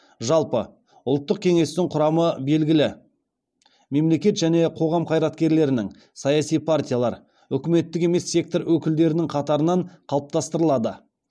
жалпы ұлттық кеңестің құрамы белгілі мемлекет және қоғам қайраткерлерінің саяси партиялар үкіметтік емес сектор өкілдерінің қатарынан қалыптастырылады